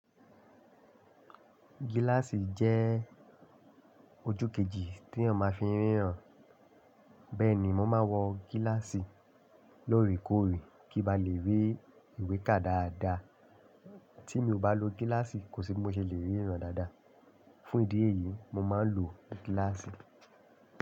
Gíláàsì jẹ́ ojú kejì tí eeyan máa fi n ríran. Bẹ́ẹ̀ni mo máa ń wọ gíláàsì lóorekoore kí n ba lè rí ìwé ká dáadáa. Tí mi ò bá lo gíláàsì kò sí bí mo ṣe lè ríran dáadáa. Fún ìdí èyí, mo máa ń lo gíláàsì.